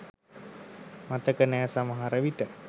මතක නෑ සමහර විට